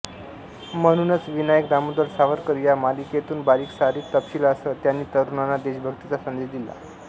म्हणूनच विनायक दामोदर सावरकर या मालिकेतून बारीक सारीक तपशिलासह त्यांनी तरुणांना देशभक्तीचा संदेश दिला